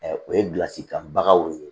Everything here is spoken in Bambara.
o ye bilasira kan bagaw ye